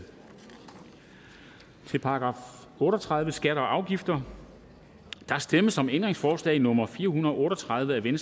til § otte og tredive skatter og afgifter der stemmes om ændringsforslag nummer fire hundrede og otte og tredive af v